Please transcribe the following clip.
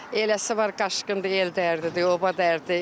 Eləsi var qaçqındır, el dərdi, oba dərdi.